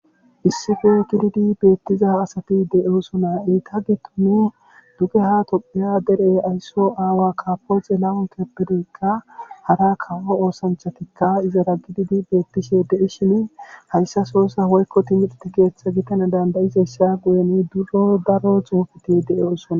issife gididi beettiza asati de7oosona iita gi tunu duge ha topheya deree aysso aawa kapoxe la7un keppedeykka hara kawo oosanchatikka izara gididi beettishe dei shini hayssa soossa hoykko timirte keeththa gitana dandayizesha guyeni daro xuufeti de'oosona